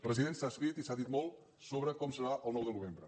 president s’ha escrit i s’ha dit molt sobre com serà el nou de novembre